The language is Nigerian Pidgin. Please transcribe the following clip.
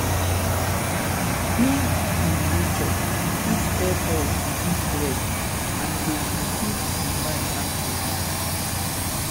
being in nature fit help us reduce stress and e dey keep keep di mind active